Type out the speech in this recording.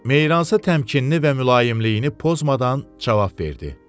Meyransa təmkinini və mülayimliyini pozmadan cavab verdi.